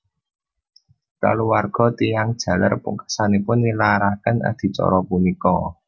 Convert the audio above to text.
Kaluwarga tiyang jaler pungkasanipun nilaraken adicara punika